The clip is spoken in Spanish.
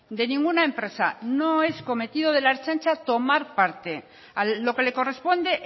de ninguna empresa no es cometido de la ertzaintza tomar parte lo que le corresponde